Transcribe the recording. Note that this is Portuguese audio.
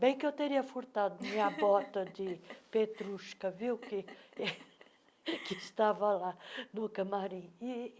Bem que eu teria furtado minha bota de petrushka, viu, que estava lá no camarim.